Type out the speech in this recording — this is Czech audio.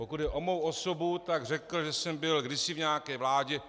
Pokud jde o mou osobu, tak řekl, že jsem byl kdysi v nějaké vládě.